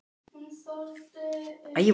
Kía, hvernig er veðurspáin?